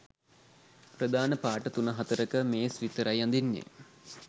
ප්‍රධාන පාට තුන හතරක මේස් විතරයි අඳින්නේ.